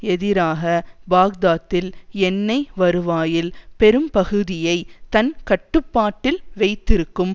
எதிராக பாக்தாத்தில் எண்ணெய் வருவாயில் பெரும்பகுதியை தன் கட்டுப்பாட்டில் வைத்திருக்கும்